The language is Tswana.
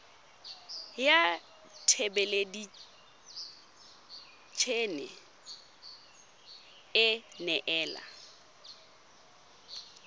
ya thelebi ene e neela